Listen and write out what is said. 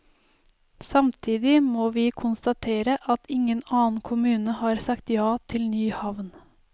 Samtidig må vi konstatere at ingen annen kommune har sagt ja til ny havn.